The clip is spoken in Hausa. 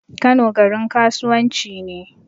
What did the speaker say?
Kano garin kasuwan ci ne